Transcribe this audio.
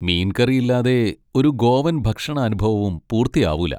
മീൻ കറി ഇല്ലാതെ ഒരു ഗോവൻ ഭക്ഷണ അനുഭവവും പൂർത്തിയാവൂല.